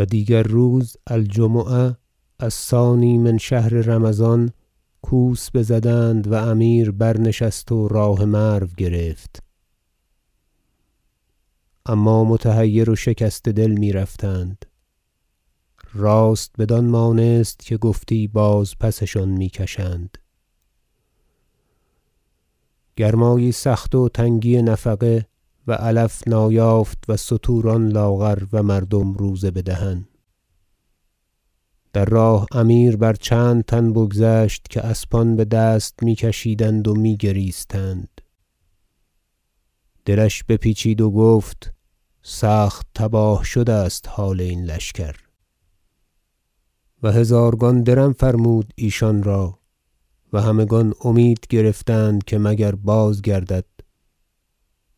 و دیگر روز الجمعه الثانی من شهر رمضان کوس بزدند و امیر برنشست و راه مرو گرفت اما متحیر و شکسته دل میرفتند راست بدان مانست که گفتی باز- پسشان می کشند گرمایی سخت و تنگی نفقه و علف نایافت و ستوران لاغر و مردم روزه بدهن در راه امیر بر چند تن بگذشت که اسبان بدست می کشیدند و می- گریستند دلش بپیچید و گفت سخت تباه شده است حال این لشکر و هزارگان درم فرمود ایشان را و همگان امید گرفتند که مگر بازگردد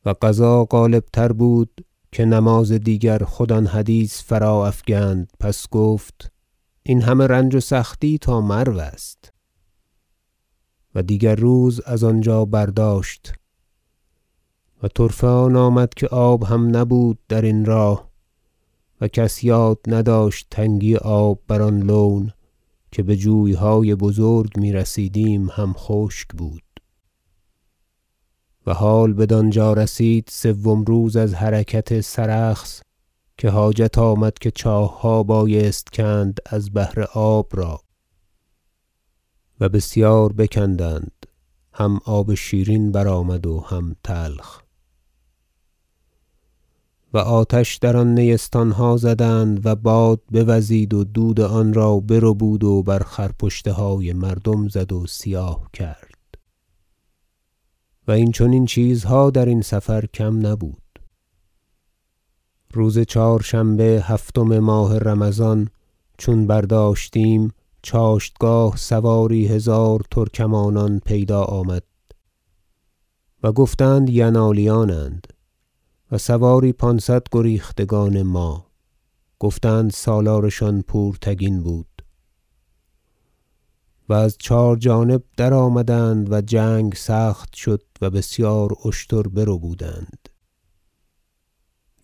و قضا غالب تر بود که نماز دیگر خود آن حدیث فرا افگند پس گفت این همه رنج و سختی تا مرو است و دیگر روز از آنجا برداشت و طرفه آن آمد که آب هم نبود درین راه و کس یاد نداشت تنگی آب بر آن لون که بجویهای بزرگ میرسیدیم هم خشک بود و حال بدانجا رسید سوم روز از حرکت سرخس که حاجت آمد که چاهها بایست کند از بهر آب را و بسیار بکندند هم آب شیرین برآمد و هم تلخ و آتش در نیستانها زدند و باد بوزید و دود آنرا بربود و بر خرپشتهای مردم زد و سیاه کرد و این چنین چیزها درین سفر کم نبود روز چهارشنبه هفتم ماه رمضان چون برداشتیم چاشتگاه سواری هزار ترکمانان پیدا آمد و گفتند ینالیانند و سواری پانصد گریختگان ما گفتند سالارشان پورتگین بود و از چهار جانب درآمدند و جنگ سخت شد و بسیار اشتر بربودند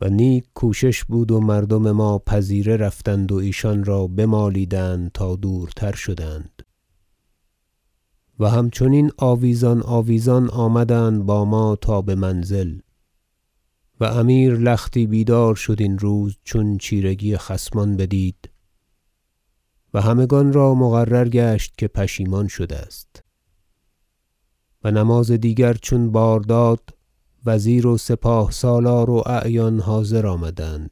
و نیک کوشش بود و مردم ما پذیره رفتند و ایشان را بمالیدند تا دورتر شدند و همچنین آویزان آویزان آمدند با ما تا بمنزل و امیر لختی بیدار شد این روز چون چیرگی خصمان بدید و همگان را مقرر گشت که پشیمان شده است و نماز دیگر چون بار داد وزیر و سپاه سالار و اعیان حاضر آمدند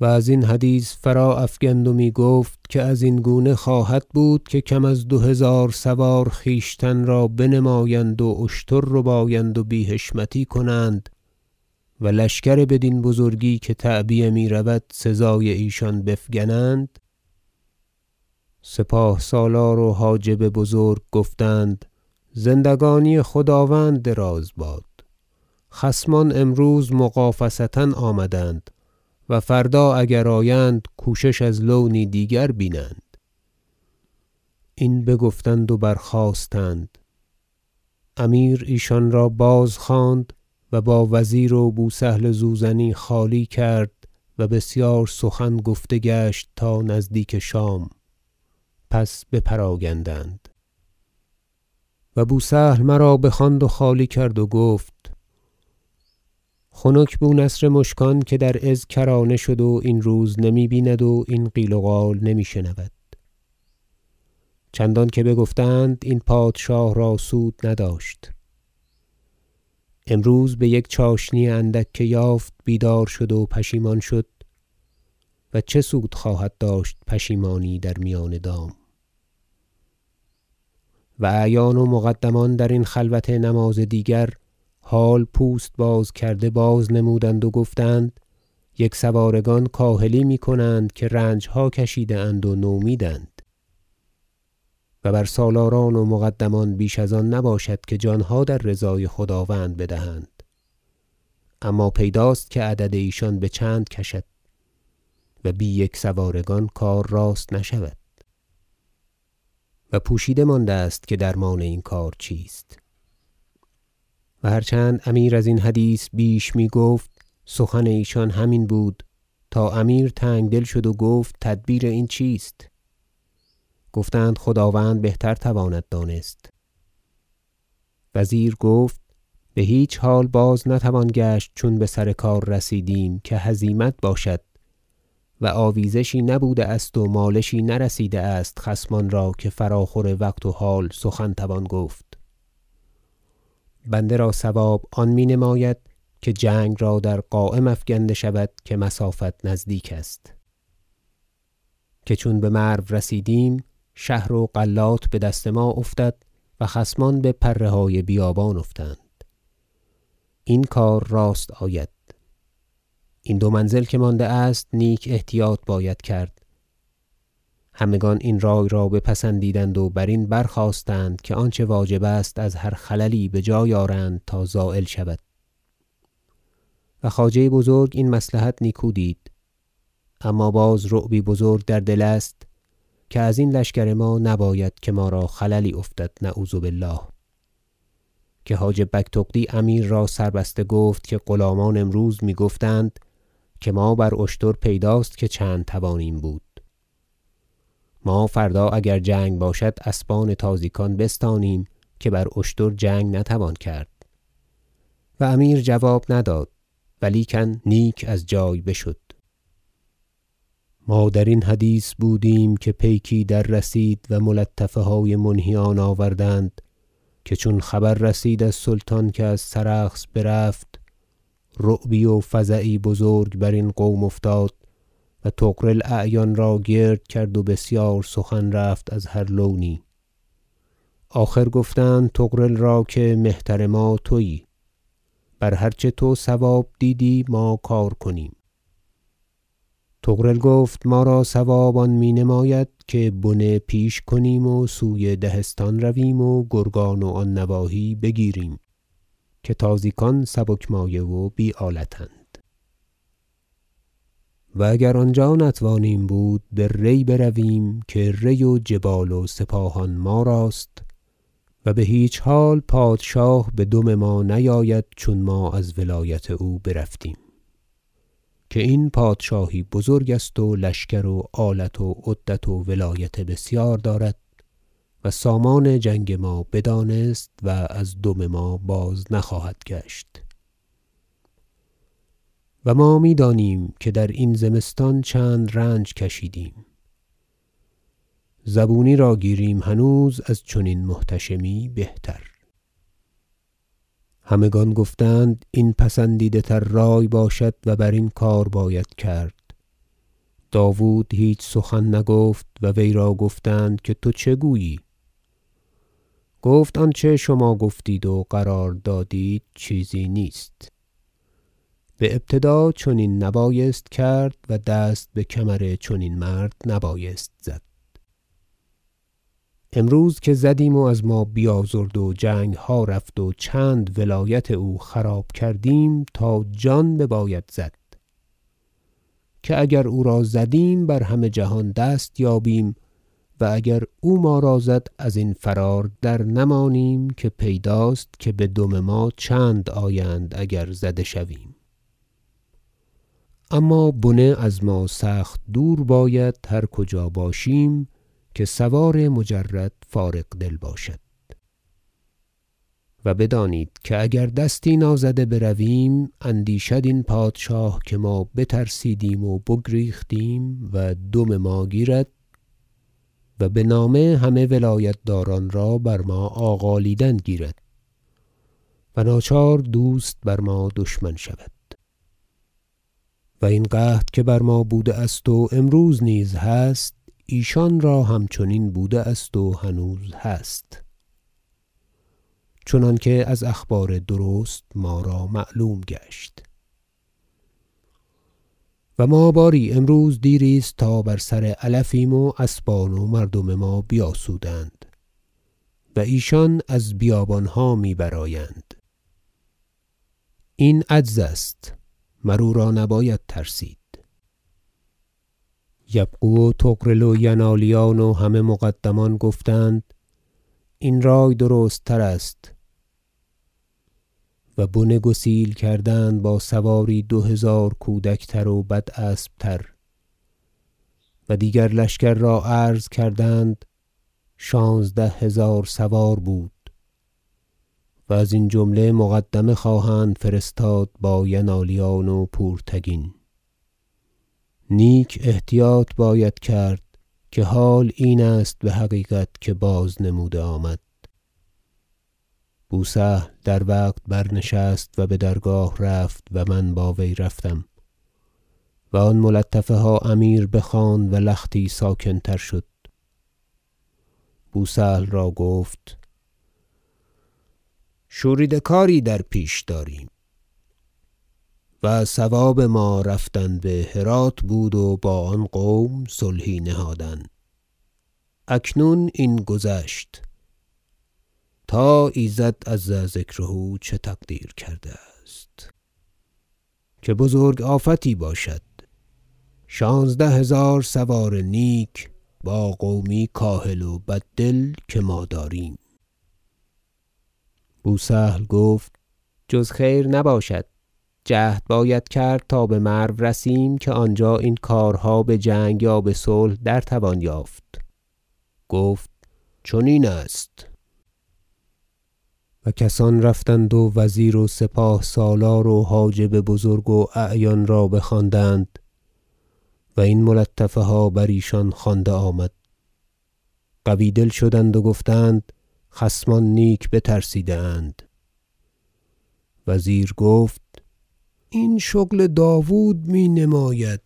و ازین حدیث فرا- افگند و می گفت که ازین گونه خواهد بود که کم از دو هزار سوار خویشتن را بنمایند و اشتر ربایند و بی حشمتی کنند و لشکر بدین بزرگی که تعبیه میرود سزای ایشان بفگنند سپاه سالار و حاجب بزرگ گفتند زندگانی خداوند دراز باد خصمان امروز مغافصه آمدند و فردا اگر آیند کوشش از لونی دیگر بینند این بگفتند و برخاستند امیر ایشان را بازخواند و با وزیر و بو سهل زوزنی خالی کرد و بسیار سخن گفته گشت تا نزدیک شام پس بپراگندند و بو سهل مرا بخواند و خالی کرد و گفت خنک بو نصر مشکان که در عز کرانه شد و این روز نمی بیند و این قال و قیل نمی شنود چندانکه بگفتند این پادشاه را سود نداشت امروز بیک چاشنی اندک که یافت بیدار شد و پشیمان شد و چه سود خواهد داشت پشیمانی در میان دام و اعیان و مقدمان درین خلوت نماز دیگر حال پوست باز کرده باز نمودند و گفتند یکسوارگان کاهلی میکنند که رنجها کشیده اند و نومیدند و بر سالاران و مقدمان بیش از آن نباشد که جانها در رضای خداوند بدهند اما پیداست که عدد ایشان بچند کشد و بی یکسوارگان کار راست نشود و پوشیده مانده است که درمان این کار چیست و هر چند امیر ازین حدیث بیش میگفت سخن ایشان همین بود تا امیر تنگدل شد و گفت تدبیر این چیست گفتند خداوند بهتر تواند دانست وزیر گفت بهیچ حال باز نتوان گشت چون بسر کار رسیدیم که هزیمت باشد و آویزشی نبوده است و مالشی نرسیده است خصمان را که فراخور وقت و حال سخن توان گفت بنده را صواب آن مینماید که جنگ را در قایم افگنده شود که مسافت نزدیک است که چون بمرو رسیدیم شهر و غلات بدست ما افتد و خصمان بپره های بیابان افتند این کار راست آید این دو منزل که مانده است نیک احتیاط باید کرد همگان این رای را بپسندیدند و برین برخاستند که آنچه واجب است از هر خللی بجای آرند تا زایل شود و خواجه بزرگ این مصلحت نیکو دید اما باز رعبی بزرگ در دل است که ازین لشکر ما نباید که ما را خللی افتد نعوذ بالله که حاجب بگتغدی امیر را سر بسته گفت که غلامان امروز می گفتند که ما بر اشتر پیداست که چند توانیم بود ما فردا اگر جنگ باشد اسبان تازیکان بستانیم که بر اشتر جنگ نتوان کرد و امیر جواب نداد و لیکن نیک از جای بشد خبر دادن منهیان از حال ترکمانان ما درین حدیث بودیم که پیکی دررسید و ملطفه های منهیان آوردند که چون خبر رسید از سلطان که از سرخس برفت رعبی و فزعی بزرگ برین قوم افتاد و طغرل اعیان را گرد کرد و بسیار سخن رفت از هر لونی آخر گفتند طغرل را که مهتر ما تویی بر هر چه تو صواب دیدی ما کار کنیم طغرل گفت ما را صواب آن می نماید که بنه پیش کنیم و سوی دهستان رویم و گرگان و آن نواحی بگیریم که تازیکان سبک مایه و بی آلت اند و اگر آنجا نتوانیم بود به ری برویم که ری و جبال و سپاهان ما راست و بهیچ حال پادشاه بدم ما نیاید چون ما از ولایت او برفتیم که این پادشاهی بزرگ است و لشکر و آلت و عدت و ولایت بسیار دارد و سامان جنگ ما بدانست و از دم ما باز نخواهد گشت و ما میدانیم که درین زمستان چند رنج کشیدیم زبونی را گیریم هنوز از چنین محتشمی بهتر همگان گفتند این پسندیده تر رای باشد و برین کار باید کرد داود هیچ سخن نگفت و وی را گفتند که تو چه گویی گفت آنچه شما گفتید و قرار دادید چیزی نیست بابتدا چنین نبایست کرد و دست بکمر چنین مرد نبایست زد امروز که زدیم و از ما بیازرد و جنگها رفت و چند ولایت او خراب کردیم تا جان بباید زد که اگر او را زدیم بر همه جهان دست یابیم و اگر او ما را زد ازین فرار درنمانیم که پیداست بدم ما چند آیند اگر زده شویم اما بنه از ما سخت دور باید هر کجا باشیم که سوار مجرد فارغ دل باشد و بدانید که اگر دستی نازده برویم اندیشد این پادشاه که ما بترسیدیم و بگریختیم و دم ما گیرد و بنامه همه ولایتداران را بر ما آغالیدن گیرد و ناچار دوست بر ما دشمن شود و این قحط که بر ما بوده است و امروز نیز هست ایشان را همچنین بوده است و هنوز هست چنانکه از اخبار درست ما را معلوم گشت و ما باری امروز دیری است تا بر سر علفیم و اسبان و مردم ما بیاسودند و ایشان از بیابانها می برآیند این عجز است مر او را نباید ترسید یبغو و طغرل و ینالیان و همه مقدمان گفتند این رای درست تر است و بنه گسیل کردند با سواری دو هزار کودک تر و بد اسب تر و دیگر لشکر را عرض کردند شانزده هزار سوار بود و ازین جمله مقدمه خواهند فرستاد با ینالیان و پورتگین نیک احتیاط باید کرد که حال این است بحقیقت که باز نموده آمد بو سهل در وقت برنشست و بدرگاه رفت و من با وی رفتم و آن ملطفه ها امیر بخواند و لختی ساکن تر شد بو سهل را گفت شوریده کاری در پیش داریم و صواب ما رفتن بهرات بود و با آن قوم صلحی نهادن اکنون این گذشت تا ایزد عز ذکره چه تقدیر کرده است که بزرگ آفتی باشد شانزده هزار سوار نیک با قومی کاهل و بد دل که ما داریم بو سهل گفت جز خیر نباشد جهد باید کرد تا بمرو رسیم که آنجا این کارها یا بجنگ یا بصلح در توان یافت گفت چنین است و کسان رفتند و وزیر و سپاه سالار و حاجب بزرگ و اعیان را بخواندند و این ملطفه ها بر ایشان خوانده آمد قوی دل شدند و گفتند خصمان نیک بترسیده اند وزیر گفت این شغل داود می نماید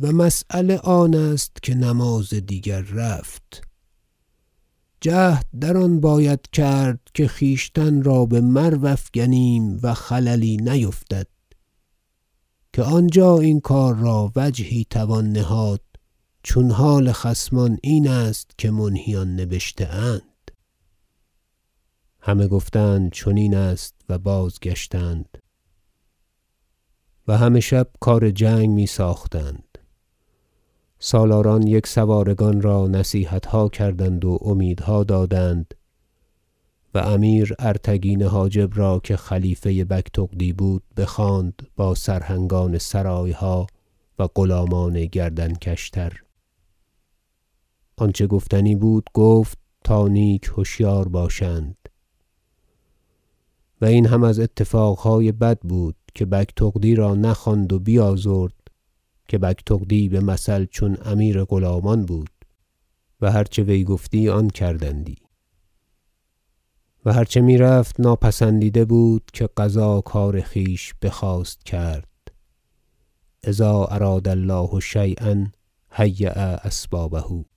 و مسیله آن است که نماز دیگر رفت جهد در آن باید کرد که خویشتن را بمرو افگنیم و خللی نیفتد که آنجا این کار را وجهی توان نهاد چون حال خصمان این است که منهیان نبشته اند همه گفتند چنین است و بازگشتند و همه شب کار جنگ می- ساختند سالاران یکسوارگان را نصیحتها کردند و امیدها دادند و امیر ارتگین حاجب را که خلیفه بگتغدی بود بخواند با سرهنگان سرایها و غلامان گردن کش تر آنچه گفتنی بود گفت تا نیک هشیار باشند و این هم از اتفاقهای بد بود که بگتغدی را نخواند و بیازرد که بگتغدی بمثل چون امیر غلامان بود و هر چه وی گفتی آن کردندی و هر چه میرفت ناپسندیده بود که قضا کار خویش بخواست کرد اذا اراد الله شییا هیا اسبابه